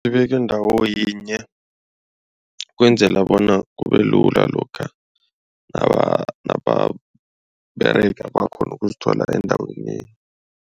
Ibeke ndawoyinye ukwenzela bona kubelula lokha nababerega bakghona ukuzithola endaweni yinye.